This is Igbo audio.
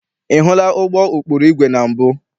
Ị hụla ụgbọ ụkpụrụ igwe na mbụ?